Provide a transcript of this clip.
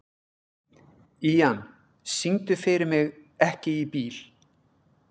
Ían, syngdu fyrir mig „Ekki bíl“.